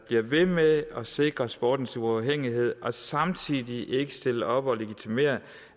bliver ved med at sikre sportens uafhængighed og samtidig ikke stiller op og legitimerer